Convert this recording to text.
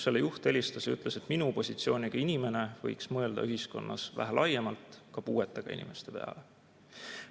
Selle juht helistas ja ütles, et minu positsiooniga inimene võiks mõelda ühiskonnas vähe laiemalt, ka puuetega inimeste peale.